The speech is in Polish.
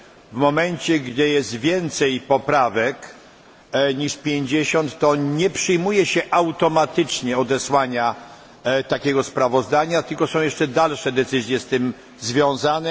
W momencie, gdy jest więcej niż 50 poprawek, nie przyjmuje się automatycznie odesłania takiego sprawozdania, tylko są jeszcze dalsze decyzje z tym związane.